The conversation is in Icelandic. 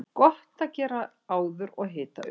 Gott að gera áður og hita upp.